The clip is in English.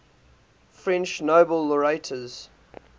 french nobel laureates